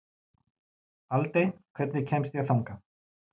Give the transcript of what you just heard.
Aldey, hvernig kemst ég þangað?